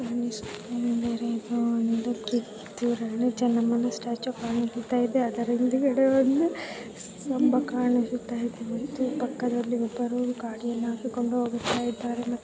ಈ ಚಿತ್ರ ದಲ್ಲಿ ಕಿತ್ತೂರ್ ರಾಣಿ ಚೆನ್ನಮ್ಮ ಸ್ಟಾಚು ಕಾಣಿಸ್ತಾಇದೆ ಅಡ್ಕ್ರಾ ಇದೆ ಒಂದು ಕಂಬ ಕಾಣಿಸ್ತಾಇದೆ ಪಕ್ಕದಲ್ಲಿ ಒಬ್ಬರು ಗಾಡಿಯನ್ನು ಹತ್ತಿಕೊಂಡು ಹೋಗುತ್ತಿದ್ದಾರೆ.